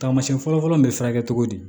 Taamasiyɛn fɔlɔfɔlɔ bɛ furakɛ cogo di